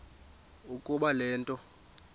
ukuba le nto